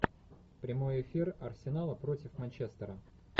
прямой эфир арсенала против манчестера